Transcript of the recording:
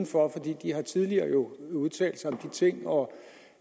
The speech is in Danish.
for de har jo tidligere udtalt sig om de ting og